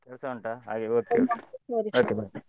ಕೆಲ್ಸ ಉಂಟಾ ಹಾಗೆ okay .